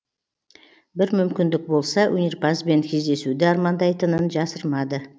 бір мүмкіндік болса өнерпазбен кездесуді армандайтынын жасырмады